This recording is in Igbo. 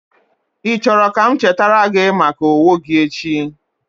Ị chọrọ ka m chetara gị maka owo gi echi?